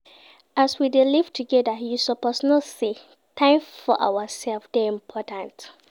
As we dey live togeda, you suppose know sey time for ourselves dey important.